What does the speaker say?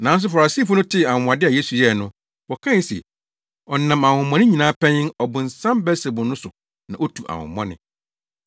Nanso Farisifo no tee anwonwade a Yesu yɛe no, wɔkae se, “Ɔnam ahonhommɔne nyinaa panyin, Ɔbonsam Beelsebul no so na otu ahonhommɔne.”